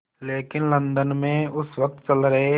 लेकिन लंदन में उस वक़्त चल रहे